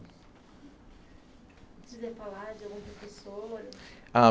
Se quiser falar de algum professor? Ah